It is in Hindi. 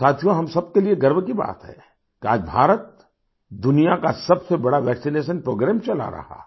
साथियो हम सबके लिए गर्व की बात है कि आज भारत दुनिया का सबसे बड़ा वैक्सिनेशन प्रोग्राम चला रहा है